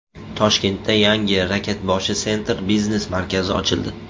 Toshkentda yangi Rakatboshi Center biznes markazi ochildi.